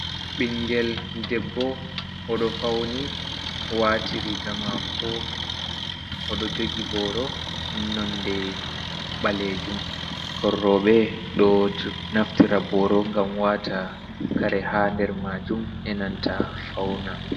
Ɓingel debbo, odo fauni, wati riga mako, oɗo jogi boro nonde ɓalejum. Ɓikkon roɓe ɗo naftira boro ngam wata kare ha nder majum e nanta fauna.